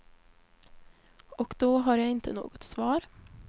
Och då har jag inte något svar.